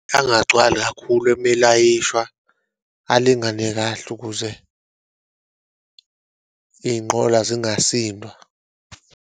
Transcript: Angagcwali kakhulu uma elayishaywa, alingane kahle kuze iyinqola zingasindwa.